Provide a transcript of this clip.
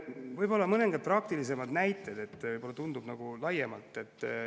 Võib-olla mõned praktilised näited, nagu laiemalt.